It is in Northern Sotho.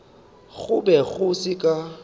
go be go se ka